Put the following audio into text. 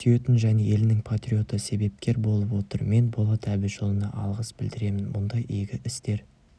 сүйетін және елінің патриоты себепкер болып отыр мен болат әбішұлына алғыс білдіремін мұндай игі істер